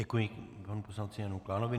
Děkuji panu poslanci Janu Klánovi.